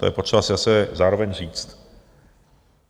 To je potřeba si zase zároveň říct.